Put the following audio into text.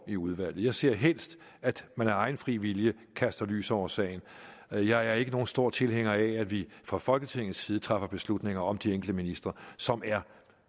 i udvalget jeg ser helst at man af egen fri vilje kaster lys over sagen jeg jeg er ikke nogen stor tilhænger af at vi fra folketingets side træffer beslutninger om de enkelte ministre som er